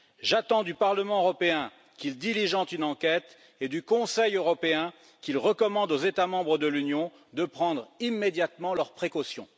J'attends du Parlement européen qu'il diligente une enquête et du Conseil européen qu'il recommande aux États membres de l'Union de prendre immédiatement leurs précautions.